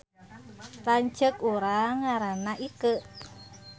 Lanceuk urang ngaranna Ikeu